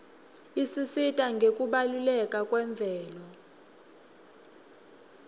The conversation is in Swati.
isisita ngekubaluleka kwemvelo